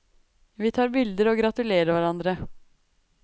Vi tar bilder og gratulerer hverandre.